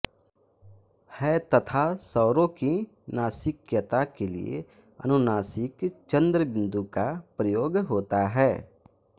है तथा स्वरों की नासिक्यता के लिए अनुनासिक ँ का प्रयोग होता है